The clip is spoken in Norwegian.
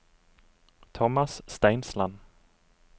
Tomas Steinsland